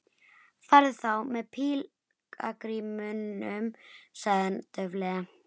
Farðu þá með pílagrímunum sagði hann dauflega.